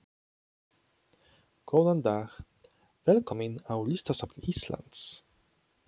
Góðan dag. Velkomin á Listasafn Íslands.